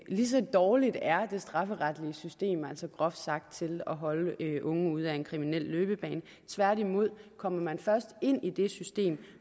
lige så dårligt er det strafferetlige system groft sagt til at holde unge ude af en kriminel løbebane tværtimod kommer man først ind i det system